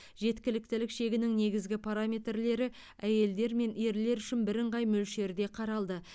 жеткіліктілік шегінің негізгі параметрлері әйелдер мен ерлер үшін бірыңғай мөлшерде қаралды